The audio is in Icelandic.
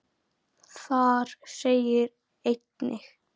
Þar segir einnig